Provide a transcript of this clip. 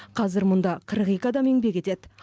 қазір мұнда қырық екі адам еңбек етеді